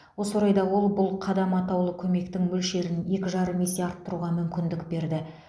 осы орайда ол бұл қадам атаулы көмектің мөлшерін екі жарым есе арттыруға мүмкіндік берді